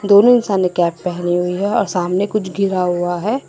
दोनो इंसान ने कैप पहनी हुई है और सामने कुछ गिरा हुआ है।